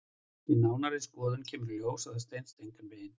Við nánari skoðun kemur í ljós að það stenst engan veginn.